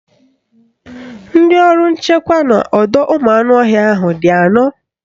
Ndị ọrụ nchekwa n'ọdọụmụanụọhịa ahụ ga-anọ